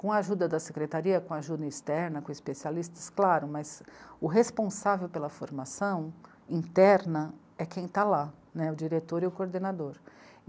Com a ajuda da secretaria, com ajuda externa, com especialistas, claro, mas o responsável pela formação interna é quem está lá, né, o diretor e o coordenador.